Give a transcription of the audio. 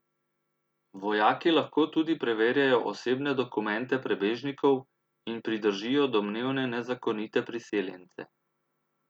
Vojaki lahko tudi preverjajo osebne dokumente prebežnikov in pridržijo domnevne nezakonite priseljence.